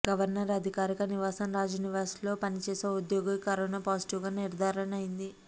governor అధికారిక నివాసం రాజ్ నివాస్లో పనిచేసే ఓ ఉద్యోగికి కరోనా పాజిటివ్గా నిర్థారణ అయింది